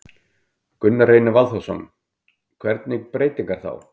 Gunnar Reynir Valþórsson: Hvernig breytingar þá?